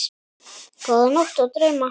Góða nótt og drauma.